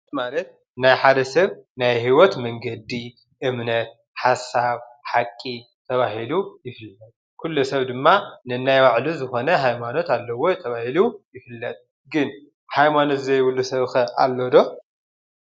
ሃይማኖት ማለት ናይ ሓደ ሰብ ናይ ሂወት መንገዲ እምነት፣ ሓሳብ ፣ሓቂ ተባሂሉ ይፍለጥ፡፡ ኩሉ ሰብ ድማ ነናይ ባዕሉ ዝኮነ ሃይማኖት ኣለዎ እዩ ተባሂሉ ይፍለጥ፡፡ ግን ሃይማኖት ዘይብሉ ሰብ ከ ኣሎዶ?